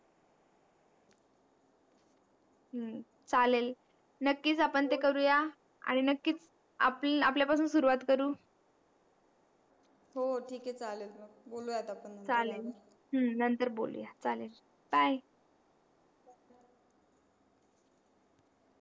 हम्म चालेल नक्कीच आपण ते करू या आणि नक्कीच आपल्या पासून सुरुवात करू हो ठीक आहे चालेल बोलू या आता आपण नंतर हम्म नंतर